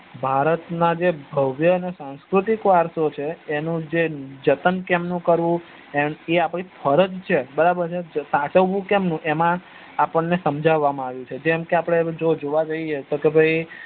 ભારત ના જે ભવ્ય અને સંસ્કૃતિક વરસો છે એનું જન્ત કેમનું કરવું એ આપડી ફરજ છે બરાબર સાચવું કેમનું એ એમાં આપડ ને સમજવામાં આવ્યું છે જેમકે આપડે જોવા જઈએ